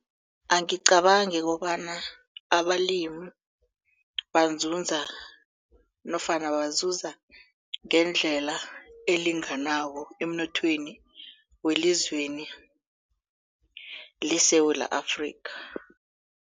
Angicabangi kobana abalimi banzunza nofana bazuza ngendlela elinganako emnothweni welizweni leSewula Afrika.